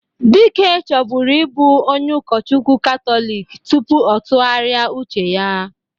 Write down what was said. Dike chọbụrụ ịbụ onye ụkọchukwu Katọlik tupu ọ tụgharia uche ya